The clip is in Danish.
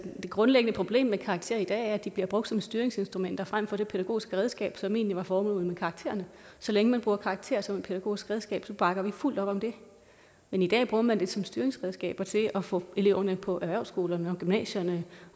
grundlæggende problem med karakterer i dag er at de bliver brugt som et styringsinstrument frem for det pædagogiske redskab som egentlig var formålet med karakterer så længe man bruger karakterer som et pædagogisk redskab bakker vi fuldt op om det men i dag bruger man dem som et styringsredskab og til at få eleverne ud på erhvervsskolerne og gymnasierne